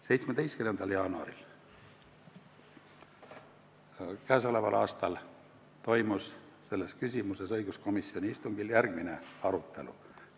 17. jaanuaril k.a toimus selles küsimuses õiguskomisjoni istungil järgmine arutelu.